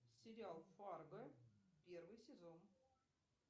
сериал фарго первый сезон